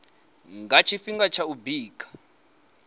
nga tshifhinga tsha u beba